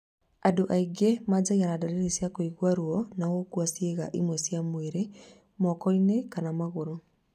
Andũ aingĩ manjagia na ndariri cia kũigua ruo na gũkua ciĩga imwe cia mwĩrĩ moko-inĩ kana magũrũ